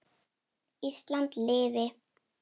Ísland lifi.